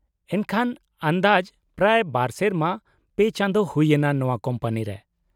-ᱮᱱᱠᱷᱟᱱ ᱟᱱᱫᱟᱡ ᱯᱨᱟᱭ ᱒ ᱥᱮᱨᱢᱟ ᱓ ᱪᱟᱸᱫᱳ ᱦᱩᱭ ᱮᱱᱟ ᱱᱚᱶᱟ ᱠᱳᱢᱯᱟᱱᱤ ᱨᱮ ?